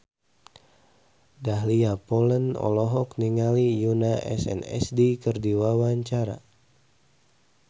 Dahlia Poland olohok ningali Yoona SNSD keur diwawancara